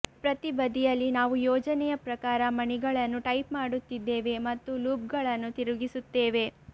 ಪ್ರತಿ ಬದಿಯಲ್ಲಿ ನಾವು ಯೋಜನೆಯ ಪ್ರಕಾರ ಮಣಿಗಳನ್ನು ಟೈಪ್ ಮಾಡುತ್ತಿದ್ದೇವೆ ಮತ್ತು ಲೂಪ್ಗಳನ್ನು ತಿರುಗಿಸುತ್ತೇವೆ